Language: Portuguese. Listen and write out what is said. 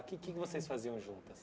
O que é que vocês faziam juntas?